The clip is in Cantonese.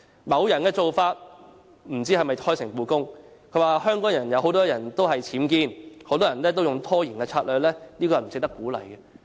某人的做法不知道是否開誠布公，他說香港很多僭建，很多人都用拖延策略，這是不值得鼓勵的。